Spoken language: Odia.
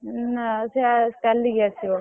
ନା ସେ ଚାଲିକି ଆସିବ।